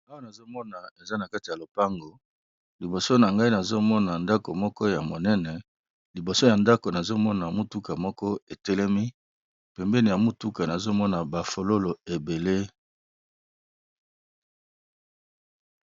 Awa nazomona eza na kati ya lopango liboso na ngai nazomona, ndako moko ya monene liboso ya ndako nazomona mutuka moko etelemi pembeni ya mutuka nazomona bafololo ebele.